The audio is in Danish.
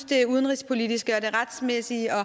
det udenrigspolitiske og det retsmæssige